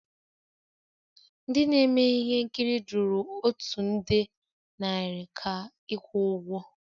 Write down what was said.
M ndị na-eme ihe nkiri jụrụ otu nde naira ka ịkwụ ụgwọ